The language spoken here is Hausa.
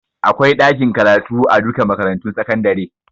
Akwai ɗakin karatu a duka makarantun sakandare